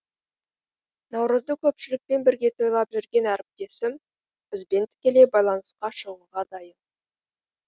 наурызды көпшілікпен бірге тойлап жүрген әріптесім бізбен тікелей байланысқа шығуға дайын